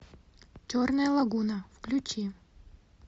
черная лагуна включи